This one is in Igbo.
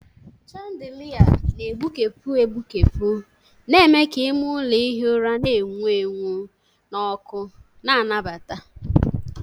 Chandelia na-egbukepụ egbukepụ na-eme ka ime ụlọ ihi ụra na-enwu enwu na ọkụ na-anabata.